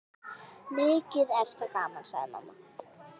Mikið er það gaman, sagði mamma.